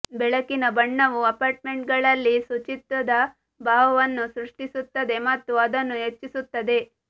ಬೆಳಕಿನ ಬಣ್ಣವು ಅಪಾರ್ಟ್ಮೆಂಟ್ಗಳಲ್ಲಿ ಶುಚಿತ್ವದ ಭಾವವನ್ನು ಸೃಷ್ಟಿಸುತ್ತದೆ ಮತ್ತು ಅದನ್ನು ಹೆಚ್ಚಿಸುತ್ತದೆ